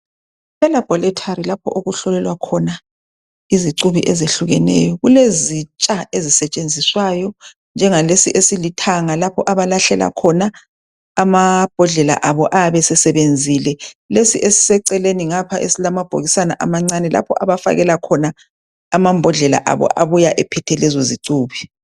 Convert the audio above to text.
Elaboratory lapho okuhlolelwa khona izicubi ezihlukeneyo kulezitsha ezisetshenziswayo njengalesi esilithanga lapho abalahlela khona amambodlela abo ayabe esesebenzile, lesi esiseceleni ngapha esilamabhokisana amancane lapho abafakela khona amambodlela abo abuya ephethe ezozicubi.